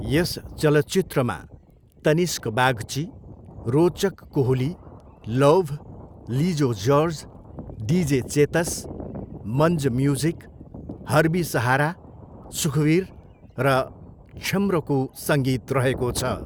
यस चलचित्रमा Tanishk Bagchi, Rochak Kohli, Lauv, Lijo George, DJ Chetas, Manj music, Harbi Sahara, Sukhbir र क्षम्रको सङ्गीत रहेको छ।